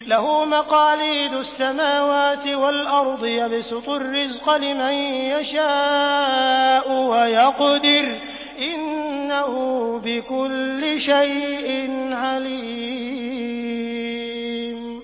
لَهُ مَقَالِيدُ السَّمَاوَاتِ وَالْأَرْضِ ۖ يَبْسُطُ الرِّزْقَ لِمَن يَشَاءُ وَيَقْدِرُ ۚ إِنَّهُ بِكُلِّ شَيْءٍ عَلِيمٌ